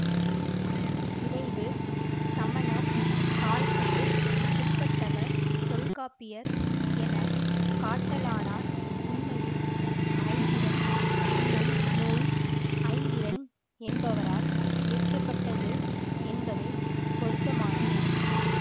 விளைவு சமணர் காலத்துக்கு பிற்பட்டவர் தொல்காப்பியர் என காட்டலானார் உண்மையில் ஐந்திரம் என்னும் நூல் ஐந்திரன் என்பவரால் இயற்ற பட்டது என்பதே பொருத்தமானது